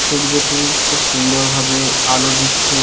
সূর্যটি খুব সুন্দরভাবে আলো দিচ্ছে।